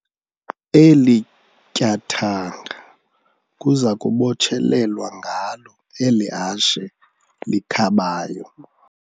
Eli tyathanga kuza kubotshelelwa ngalo eli hashe likhabayo.